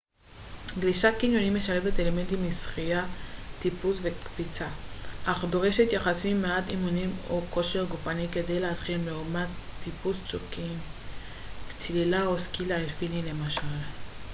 גלישת קניונים משלבת אלמנטים משחייה טיפוס וקפיצה - אך דורשת יחסית מעט אימונים או כושר גופני כדי להתחיל לעומת טיפוס צוקים צלילה או סקי אלפיני למשל